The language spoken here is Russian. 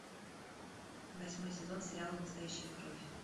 восьмой сезон сериала настоящая кровь